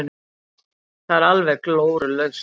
Það er alveg glórulaust.